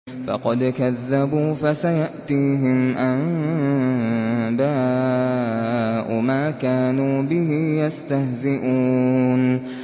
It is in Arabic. فَقَدْ كَذَّبُوا فَسَيَأْتِيهِمْ أَنبَاءُ مَا كَانُوا بِهِ يَسْتَهْزِئُونَ